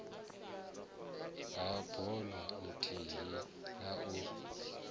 ha bono ithihi na u